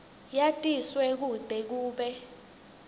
yatiswe kute kube